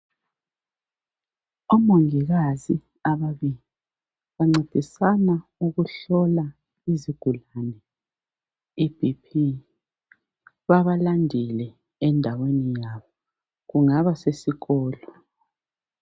Omongikazi ababili bancedisana ukuhlola izigulani iBP, babalandile endaweni yabo kungaba sesikolo.